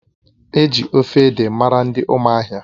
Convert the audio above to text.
Eji ofe ede mara ndị ụmụahia